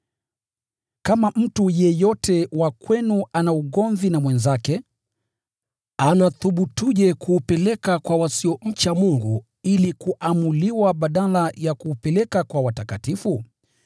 Kama mtu yeyote wa kwenu ana ugomvi na mwenzake, anathubutuje kuupeleka kwa wasiomcha Mungu ili kuamuliwa badala ya kuupeleka kwa watakatifu?